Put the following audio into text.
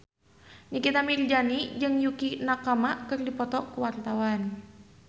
Nikita Mirzani jeung Yukie Nakama keur dipoto ku wartawan